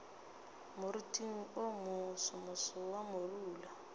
moriting wo mosomoso wa morula